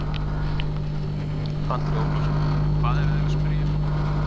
Andri Ólafsson: Og hvað eru þeir að spyrja um?